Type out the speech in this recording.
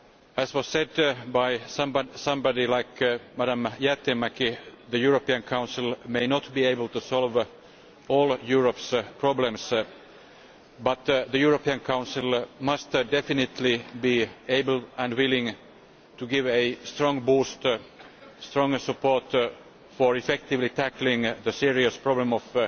As was said by somebody like Ms Jäätteenmäki, the European Council may not be able to solve all Europe's problems but the European Council must definitely be able and willing to give a strong boost and strong support to effectively tackling the serious problem of